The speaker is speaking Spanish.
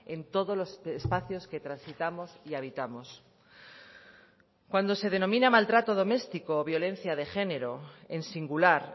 en todos los espacios que transitamos y habitamos cuando se denomina maltrato doméstico o violencia de género en singular